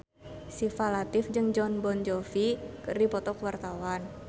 Syifa Latief jeung Jon Bon Jovi keur dipoto ku wartawan